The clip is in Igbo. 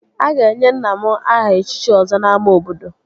A ga-enye nna m aha echichi Ọzọ n'ámá obodo